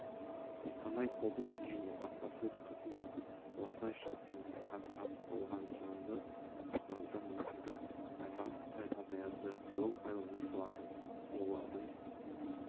қостанай облысы және баспасөз-қызметі осылайша қиындыққа тап болған жанды құтқаруда мүмкіндік айтарлықтай азаяды жол пайдаланушылар олардың